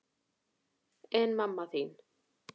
En mamma þín?